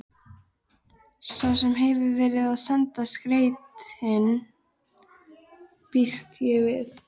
Sá sem hefur verið að senda skeytin. býst ég við.